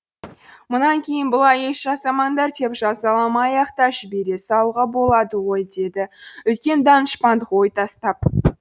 мұнан кейін бұлай еш жасамаңдар деп жазаламай ақ та жібере салуға болады ғой деді үлкен данышпандық ой тастап